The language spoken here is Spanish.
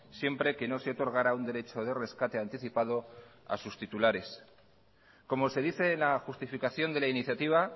siempre que no se otorgara un derecho de rescate anticipado a sus titulares como se dice en la justificación de la iniciativa